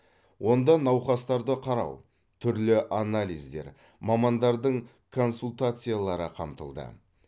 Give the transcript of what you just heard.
онда науқастарды қарау түрлі анализдер мамандардың консультациялары қамтылды